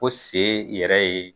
Ko sen yɛrɛ ye